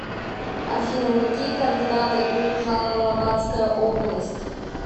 афина какие координаты у жалалабатская область